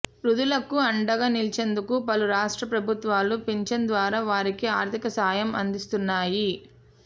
వృద్ధులకు అండగా నిలిచేందుకు పలు రాష్ట్ర ప్రభుత్వాలు పింఛన్ ద్వారా వారికి ఆర్ధిక సాయం అందిస్తు్న్నాయి